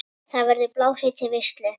Þar verður blásið til veislu.